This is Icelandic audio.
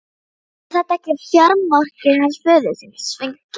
Var þetta ekki fjármarkið hans föður þíns, Sveinki?